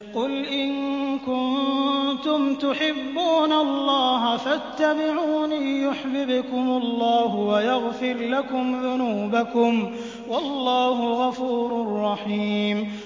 قُلْ إِن كُنتُمْ تُحِبُّونَ اللَّهَ فَاتَّبِعُونِي يُحْبِبْكُمُ اللَّهُ وَيَغْفِرْ لَكُمْ ذُنُوبَكُمْ ۗ وَاللَّهُ غَفُورٌ رَّحِيمٌ